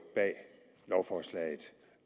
bag lovforslag